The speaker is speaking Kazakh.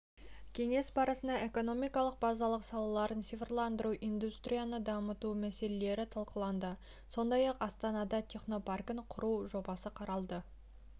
кеңес барысында экономиканың базалық салаларын цифрландыру индустрияны дамыту мәселелері талқыланды сондай-ақ астанада технопаркін құру жобасы қаралды